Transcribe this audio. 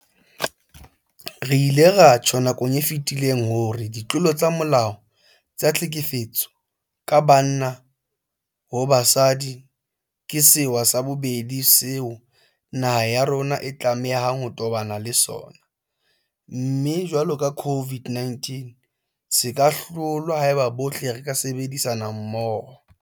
Re ile ra tjho nakong e fetileng hore ditlolo tsa molao tsa tlhekefetso ka banna ho basadi ke sewa sa bobedi seo naha ya rona e tlamehang ho tobana le sona, mme jwalo ka COVID-19 se ka hlolwa haeba bohle re ka sebedisana mmoho.